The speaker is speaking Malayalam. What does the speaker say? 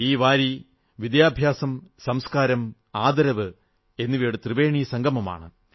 ഈ വാരി വിദ്യഭ്യാസം സംസ്കാരം ആദരവ് എന്നിവയുടെ ത്രിവേണീസംഗമമാണ്